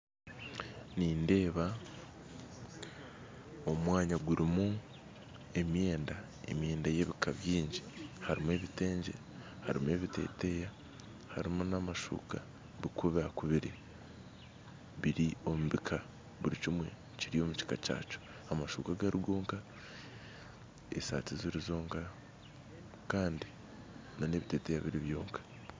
Nindeeba omwanya gurumu emyenda , emyenda ey'ebika byingi harumu ebitengye harumu ebiteteya harumu n'amashuuka bikubakubire biri omubika burikimwe Kiri omukika kyakyo amashuuka gari gonna esaati ziri zonka Kandi n'ebiteteya biri byonka.